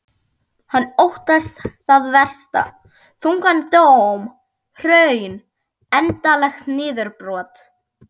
Hann óttast það versta, þungan dóm, hrun, andlegt niðurbrot.